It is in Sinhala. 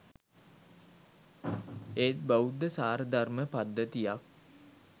ඒත් බෞද්ධ සාරධර්ම පද්ධතියක්